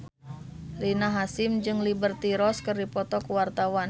Rina Hasyim jeung Liberty Ross keur dipoto ku wartawan